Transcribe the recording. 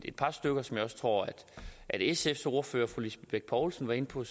et par stykker som jeg også tror at sfs ordfører fru lisbeth bech poulsen var inde på